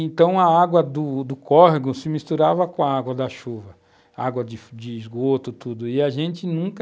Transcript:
Então, a água do do córrego se misturava com a água da chuva, água de de esgoto, tudo, e a gente nunca